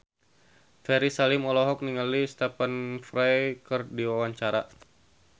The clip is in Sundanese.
Ferry Salim olohok ningali Stephen Fry keur diwawancara